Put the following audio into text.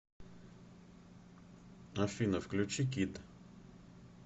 афина включи кид